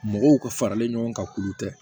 Mɔgɔw ka faralen ɲɔgɔn kan k'olu tɛ